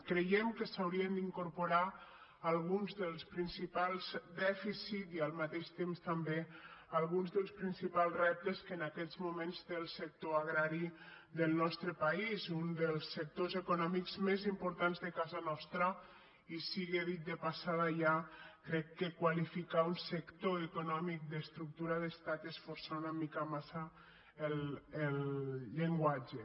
creiem que s’hi haurien d’incorporar alguns dels principals dèficits i al mateix temps també alguns dels principals reptes que en aquests moments té el sector agrari del nostre país un dels sectors econòmics més importants de ca·sa nostra i sigui dit de passada ja crec que qualifi·car un sector econòmic d’ estructura d’estat és forçar una mica massa el llenguatge